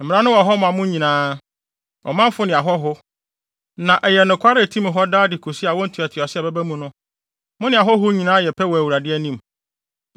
Mmara no wɔ hɔ ma mo nyinaa; ɔmanfo ne ahɔho; na ɛyɛ nokware a etim hɔ daa de kosi awo ntoatoaso a ɛbɛba no mu. Mo ne ahɔho nyinaa yɛ pɛ wɔ Awurade anim.